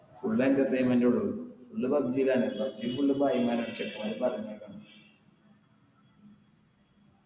full entertainment എ ഉള്ളു full pubg ലാണ്